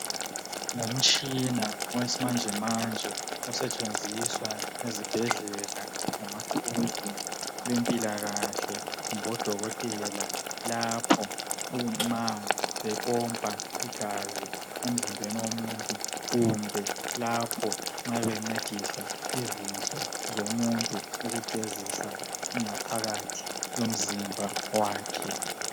Ngomtshina osimanjemanje osetshenjiswa ezibhedlela ngamaquzo bemphlakale kumbe bodokotela lapho uma bephompha igazi emzimbeni womuntu kumbe lapho nxa bencedisa izinso zomuntu ukugezisa ngaphathi yomzimba wakhe.